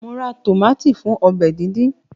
Mo ra tómátì fún ọbẹ̀ díndín